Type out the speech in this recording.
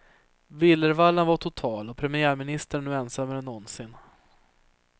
Villervallan var total och premiärministern är nu ensammare än någonsin.